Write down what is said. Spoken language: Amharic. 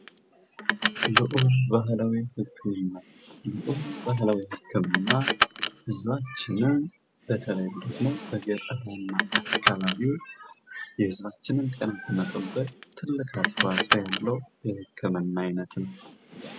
የወፍ ባህላዊ ህክምና የወፍ ባህላዊ ህክምና በተለይም ደግሞ በገጠራማ አካባቢ የህዝባችንን ጤና ለመጠበቅ ትልቅ አስተዋጾ ያለው የህክምና አይነት ነው።